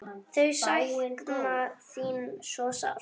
Þau sakna þín svo sárt.